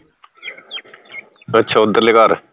ਅੱਛਾ ਉਧਰਲੇ ਘਰ